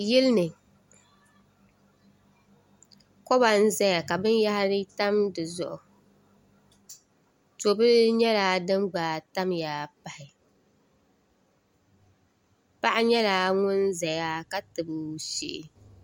yili ni koba n-zaya ka binyɛhiri tam di zuɣu to'bila nyɛla din gba tamya pahi paɣa nyɛla ŋun zaya ka tabi o shee